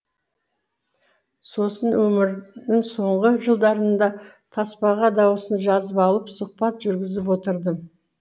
сосын өмірінің соңғы жылдарында таспаға дауысын жазып алып сұхбат жүргізіп отырдым